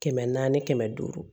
Kɛmɛ naani kɛmɛ duuru